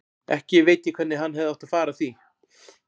Ekki veit ég hvernig hann hefði átt að fara að því.